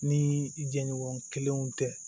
Ni jɛɲɔgɔn kelenw tɛ